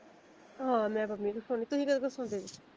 ਹਾਂ ਮੈਂ ਪੰਮੀ ਕੋ ਸਵਾਣੀ ਤੁਸੀਂ ਕੀਹਦੇ ਕੋ ਸਵੋਂਦੇ ਜੇ?